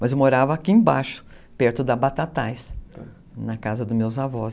Mas eu morava aqui embaixo, perto da Batatais, na casa dos meus avós.